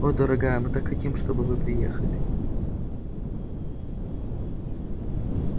о дорогая мы так хотим чтобы вы приехали